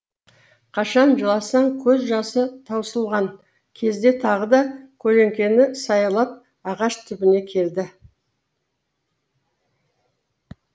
қашан жыласын көз жасы таусылған кезде тағы да көлеңкені саялап ағаш түбіне келді